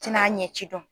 Tɛna ɲɛ ci dɔn